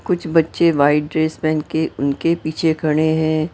कुछ बच्चे white dress पहन के उनके पीछे खड़े हैं।